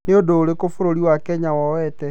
Nĩ ũndũ ũrĩkũ bũrũri wa Kenya woete.